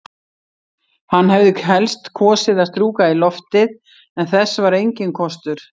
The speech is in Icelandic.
Hann hefði helst kosið að strjúka í loftið, en þess var enginn kostur.